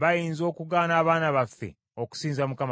bayinza okugaana abaana baffe okusinza Mukama Katonda.